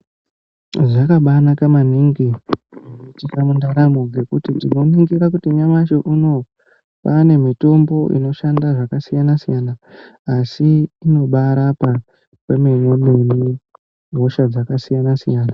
Zvakabanaka maningi zvinoitika mundaramo, nokuti tinoningira kuti nyamashi unowu, kwane mitombo inoshanda zvakasiyana siyana asi inobaarapa kwemene mene hosha dzakasiyana siyana.